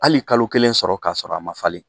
Hali kalo kelen sɔrɔ ka sɔrɔ a man falen.